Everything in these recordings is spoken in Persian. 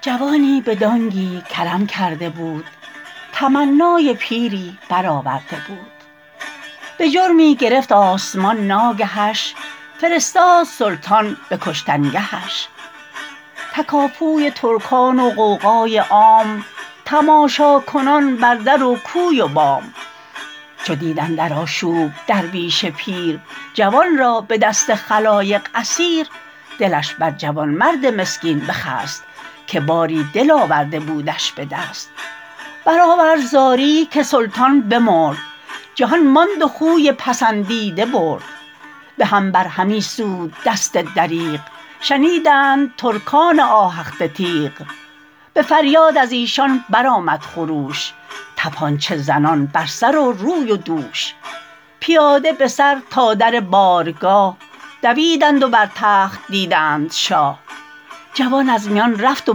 جوانی به دانگی کرم کرده بود تمنای پیری بر آورده بود به جرمی گرفت آسمان ناگهش فرستاد سلطان به کشتنگهش تکاپوی ترکان و غوغای عام تماشاکنان بر در و کوی و بام چو دید اندر آشوب درویش پیر جوان را به دست خلایق اسیر دلش بر جوانمرد مسکین بخست که باری دل آورده بودش به دست برآورد زاری که سلطان بمرد جهان ماند و خوی پسندیده برد به هم بر همی سود دست دریغ شنیدند ترکان آهخته تیغ به فریاد از ایشان بر آمد خروش تپانچه زنان بر سر و روی و دوش پیاده به سر تا در بارگاه دویدند و بر تخت دیدند شاه جوان از میان رفت و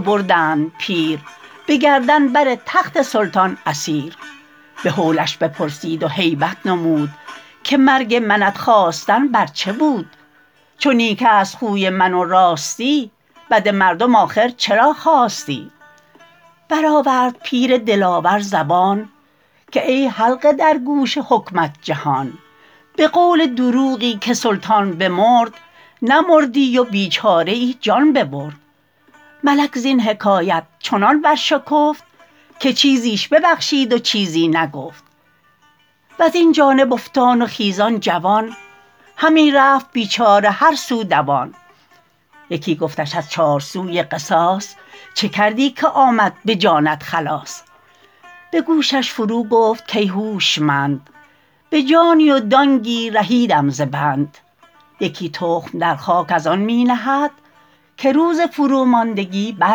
بردند پیر به گردن بر تخت سلطان اسیر به هولش بپرسید و هیبت نمود که مرگ منت خواستن بر چه بود چو نیک است خوی من و راستی بد مردم آخر چرا خواستی برآورد پیر دلاور زبان که ای حلقه در گوش حکمت جهان به قول دروغی که سلطان بمرد نمردی و بیچاره ای جان ببرد ملک زین حکایت چنان بر شکفت که چیزش ببخشید و چیزی نگفت وز این جانب افتان و خیزان جوان همی رفت بیچاره هر سو دوان یکی گفتش از چار سوی قصاص چه کردی که آمد به جانت خلاص به گوشش فرو گفت کای هوشمند به جانی و دانگی رهیدم ز بند یکی تخم در خاک از آن می نهد که روز فرو ماندگی بر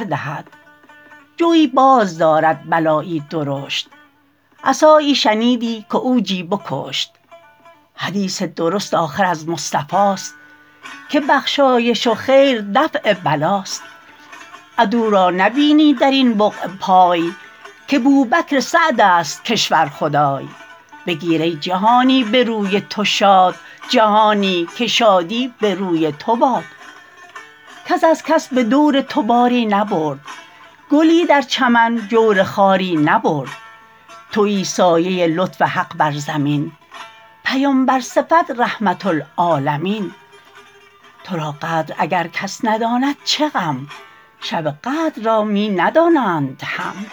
دهد جوی باز دارد بلایی درشت عصایی شنیدی که عوجی بکشت حدیث درست آخر از مصطفاست که بخشایش و خیر دفع بلاست عدو را نبینی در این بقعه پای که بوبکر سعد است کشور خدای بگیر ای جهانی به روی تو شاد جهانی که شادی به روی تو باد کس از کس به دور تو باری نبرد گلی در چمن جور خاری نبرد تویی سایه لطف حق بر زمین پیمبر صفت رحمة للعالمین تو را قدر اگر کس نداند چه غم شب قدر را می ندانند هم